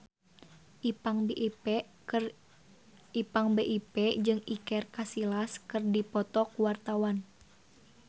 Ipank BIP jeung Iker Casillas keur dipoto ku wartawan